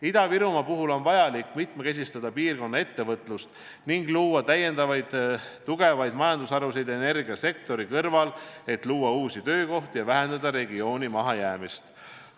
Ida-Virumaal on vaja mitmekesistada piirkonna ettevõtlust ning luua energiasektori kõrval täiendavaid tugevaid majandusharusid, et luua uusi töökohti ja vähendada regiooni mahajäämust.